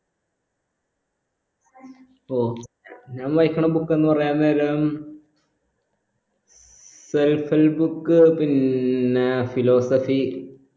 ഞാൻ വായിക്കണ book എന്ന് പറഞ്ഞാ നേരം self book പിന്നെ philosophy